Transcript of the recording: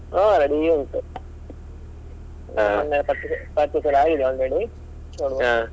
ಹಾ ready ಉಂಟು purchase, purchase ಎಲ್ಲಾ ಆಗಿದೆ already .